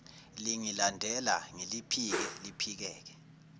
lingilandela ngiliphike liphikeke